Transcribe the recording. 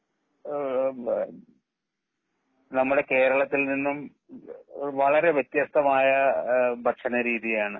എമ് നമ്മുടെ കേരളത്തിൽ നിന്നും വളരെ വെത്യസ്തമായ ഏഹ് ഭക്ഷണ രീതിയാണ്.